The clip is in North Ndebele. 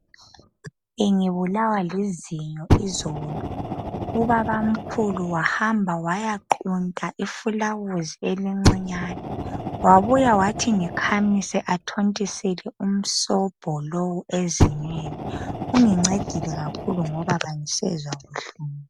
Bengibulawa lizinyo izolo, ubabamkhulu wahamba wayaqunta ifulawuzi elincinyane wabuya wathi ngikhamise athontisele umsobho lowo ezinyweni. Ungincedile kakhulu ngoba angisezwa buhlungu.